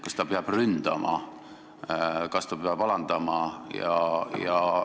Kas ta peab ründama, kas ta peab alandama?